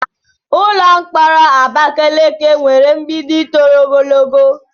Ụlọ mkpọrọ Abakeleke nwere mgbidi toro ogologo.